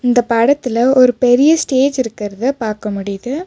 இந்த படத்துல ஒரு பெரிய ஸ்டேஜ் இருக்கிறத பாக்க முடியுது.